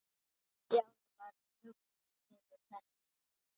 Stjáni varð hugsi yfir þessu.